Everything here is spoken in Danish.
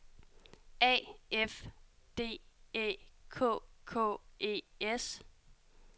A F D Æ K K E S